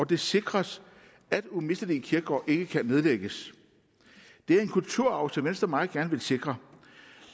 det sikres at umistelige kirkegårde ikke kan nedlægges det er en kulturarv som venstre meget gerne vil sikre